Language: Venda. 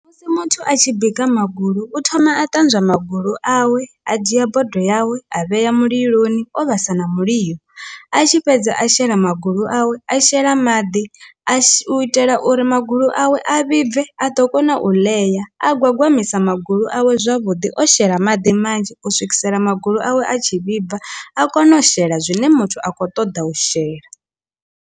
Musi muthu a tshi bika magulu u thoma a ṱanzwa magulu awe a dzhia bodo yawe a vhea muliloni o vhasa na mulilo, a tshi fhedza a shela magulu awe a shela maḓi a u itela u uri magulu awe a vhibve a ḓo kona u ḽea a gwagwamisa magulu awe zwavhuḓi o shela maḓi manzhi u swikisela magulu awe a tshi vhibva a kone u shela zwine muthu a khou ṱoḓa u shela.